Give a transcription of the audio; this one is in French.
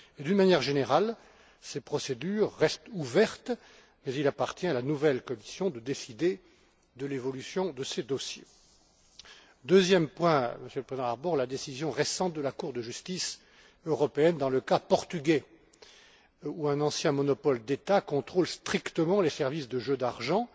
D'une manière générale, ces procédures restent ouvertes, mais il appartient à la nouvelle Commission de décider de l'évolution de ces dossiers. Deuxième point, Monsieur Harbour, la décision récente de la Cour de justice européenne dans le cas portugais, où un ancien monopole d'État contrôle strictement les services de jeux d'argent.